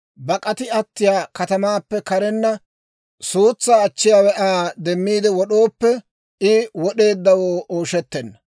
bak'ati attiyaa katamaappe karenna suutsaa achchiyaawe Aa demmiide wod'ooppe, I wod'eeddawoo ooshettenna.